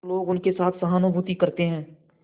तो लोग उनके साथ सहानुभूति करते हैं